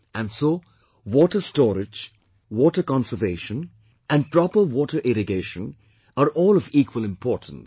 And so water storage, water conservation and proper water irrigation are all of equal importance